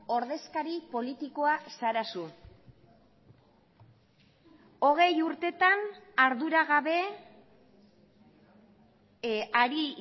ordezkari politikoa zara zu hogei urtetan arduragabe ari